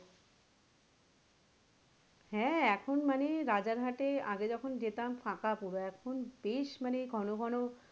হ্যাঁ এখন মানে রাজার হাটে আগে যখন যেতাম ফাঁকা পুরো এখন বেশ মানে ঘন ঘন,